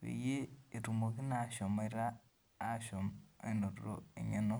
peyie etumoki naa ashomoita naa apuo aatum eng'eno.